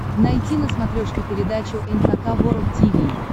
найти на смотрешке передачу эн эйч кей волд ти ви